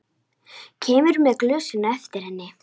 Kemur með glösin á eftir henni.